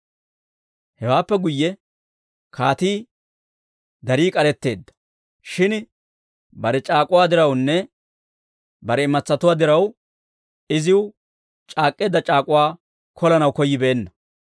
Hewaappe guyye kaatii darii k'aretteedda; shin bare c'aak'uwaa dirawunne bare imatsatuwaa diraw iziw c'aak'k'eedda c'aak'uwaa kolanaw koyyibeenna.